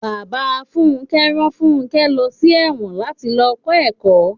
Bàbá Fúnké rán fúnké lọ sí èwòn láti lọ kó ẹ̀kọ́.